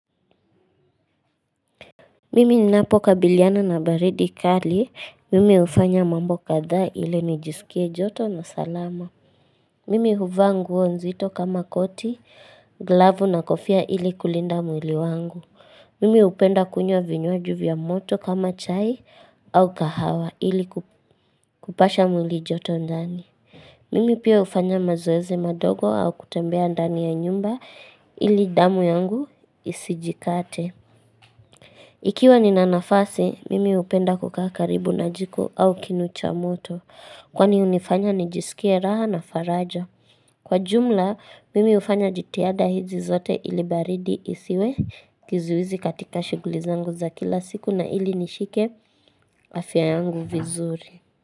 Mimi ninapokabiliana na baridi kali. Mimi hufanya mambo kadhaa ili nijisikie joto na salama. Mimi huvaa nguo nzito kama koti, glavu na kofia ili kulinda mwili wangu. Mimi hupenda kunywa vinywaji vya moto kama chai au kahawa ili kupasha mwili joto ndani. Mimi pia hufanya mazoezi madogo au kutembea ndani ya nyumba ili damu yangu isijikate. Ikiwa nina nafasi, mimi hupenda kukaa karibu na jiko au kinu cha moto, kwani hunifanya nijisikie raha na faraja. Kwa jumla, mimi hufanya jitiahada hizi zote ili baridi isiwe kizuizi katika shughuli zangu za kila siku na ili nishike afya yangu vizuri.